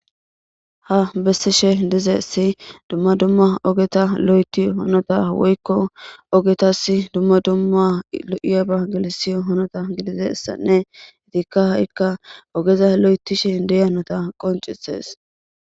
Ha bessishe dizesi dumma dumma ogeta lo'eti honota woykko ogetas dumma dumma lo'iyaba gelisi honota gidide ssanne itikka ha'ikka ogeza lo'etishe deyanota qoncises